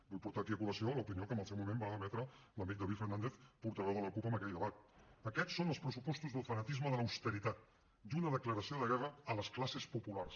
vull portar aquí a col·lació l’opinió que en el seu moment va emetre l’amic david fernàndez portaveu de la cup en aquell debat aquests són els pressupostos del fanatisme de l’austeritat i una declaració de guerra a les classes populars